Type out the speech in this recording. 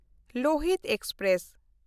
Lohit express